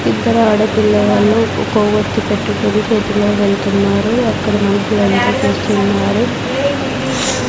ఇద్దరు ఆడపిల్ల వాళ్ళు ఒక కొవ్వొత్తి పెట్టుకొని చేతిలో వెళ్తున్నారు అక్కడ మనుషులంతా చూస్తున్నారు.